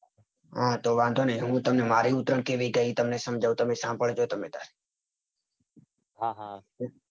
હા તો વાંધો નાઈ હું તમને મારી ઉત્તરાયણ કેવી ગયી. એ તમને સમજાવું. તમે સાંભળજો તમે તાર હા હા